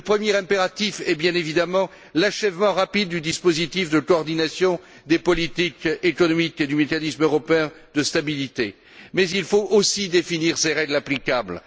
Le premier impératif est bien évidemment l'achèvement rapide du dispositif de coordination des politiques économiques ainsi que du mécanisme européen de stabilité, mais il faut aussi définir les règles applicables.